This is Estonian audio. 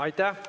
Aitäh!